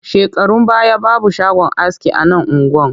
Shekarun baya babu shagon aski a nan unguwar